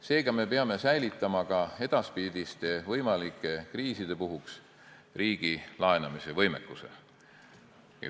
Seega, me peame säilitama ka edaspidiste võimalike kriiside puhuks riigi laenamisvõimekuse.